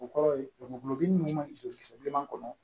O kɔrɔ ye gulɔbugu ninnu bɛ joli so bilenman kɔnɔ